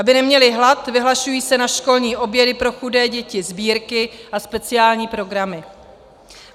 Aby neměly hlad, vyhlašují se na školní obědy pro chudé děti sbírky a speciální programy.